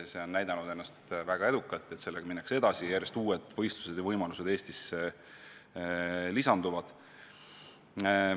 See on ennast väga edukalt tõestanud, sellega minnakse edasi, tekivad järjest uued võimalused võistlusi Eestis korraldada.